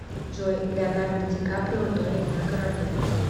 джой леонардо ди каприо тонет на корабле